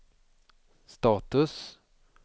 status